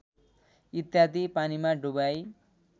इत्यादि पानीमा डुबाई